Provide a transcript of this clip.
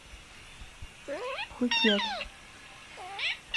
пхукет